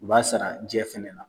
O b'a sara jɛ fɛnɛ na.